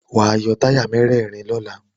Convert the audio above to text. Wàá yọ táyà mẹ́rẹ̀rin lọ́la.